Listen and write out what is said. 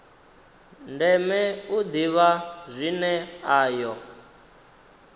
ndeme u ḓivha zwine ayo